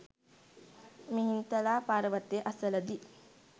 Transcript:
මිහින්තලා පර්වතය අසල දී